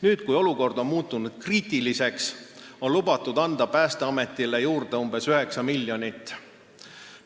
Nüüd, kui olukord on muutunud kriitiliseks, on lubatud Päästeametile umbes 9 miljonit eurot juurde anda.